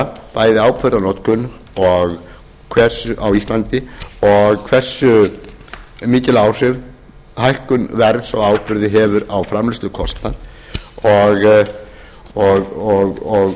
sýna bæði áburðarnotkun á íslandi og hversu mikil áhrif hækkun verðs á á burði hefur á framleiðslukostnað og